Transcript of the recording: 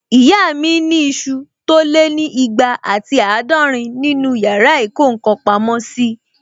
Ìyá mi ni isu tó lé ní ìgbà àti àádọ́rin nínu yàrá ìkó ǹkan pamọ́ sí